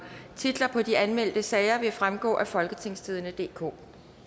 titler på de anmeldte sager vil fremgå af folketingstidende DK